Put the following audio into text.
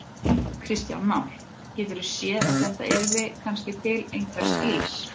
Kristján Már: Geturðu séð að þetta yrði kannski til einhvers ills?